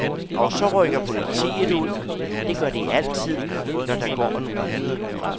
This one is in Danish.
Og så rykker politiet ud, det gør de altid, når der går en rude.